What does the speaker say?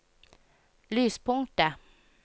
lyspunktet